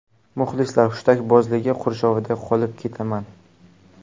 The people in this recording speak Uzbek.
Muxlislar hushtakbozligi qurshovida qolib ketaman.